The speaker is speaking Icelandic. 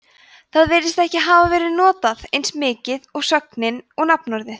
það virðist ekki hafa verið notað eins mikið og sögnin og nafnorðið